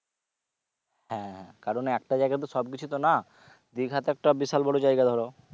হ্যাঁ কারণ একটা জায়গায় তো সব কিছু তো না দিঘা তো একটা বিশাল বড়ো জায়গা ধরো